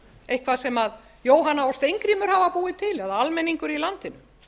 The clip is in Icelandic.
eitthvað sem jóhanna og steingrímur hafa búið til eða almenningur í landinu